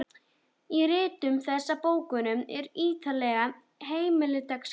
Í ritum þessum og bókum eru ýtarlegar heimildaskrár.